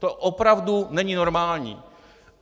To opravdu není normální.